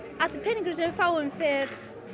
allur peningurinn sem við fáum fer